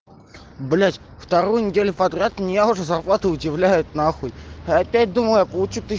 блять вторую неделю подряд меня уже зарплату удивляют нахуй опять думаю получу тыщ